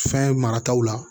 Fɛn marataw la